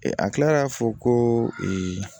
a kilara k'a fɔ ko